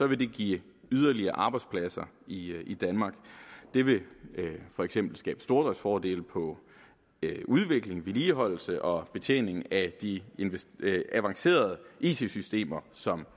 vil det give yderligere arbejdspladser i i danmark det vil for eksempel skabe stordriftsfordele på udvikling vedligeholdelse og betjening af de avancerede it systemer som